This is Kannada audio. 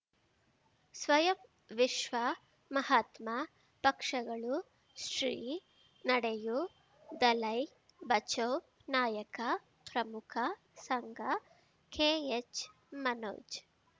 ಸ್ವಯಂ ವಿಶ್ವ ಮಹಾತ್ಮ ಪಕ್ಷಗಳು ಶ್ರೀ ನಡೆಯೂ ದಲೈ ಬಚೌ ನಾಯಕ ಪ್ರಮುಖ ಸಂಘ ಕೆ ಎಚ್ ಮನೋಜ್